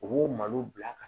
U b'o malo bila ka